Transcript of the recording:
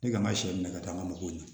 Ne kan ka sɛ minɛ ka taa n ka mɔgɔw ɲɛ